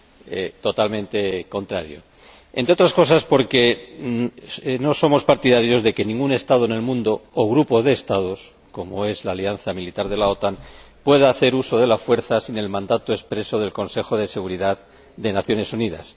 Es totalmente contrario, entre otras cosas, porque no somos partidarios de que ningún Estado del mundo —o grupo de Estados, como es la alianza militar de la OTAN— pueda hacer uso de la fuerza sin el mandato expreso del Consejo de Seguridad de las Naciones Unidas.